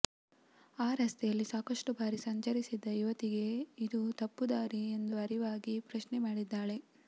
ಆ ರಸ್ತೆಯಲ್ಲಿ ಸಾಕಷ್ಟು ಬಾರಿ ಸಂಚರಿಸಿದ್ದ ಯುವತಿಗೆ ಇದು ತಪ್ಪು ದಾರಿ ಎಂದು ಅರಿವಾಗಿ ಪ್ರಶ್ನೆ ಮಾಡಿದ್ದಾಳೆ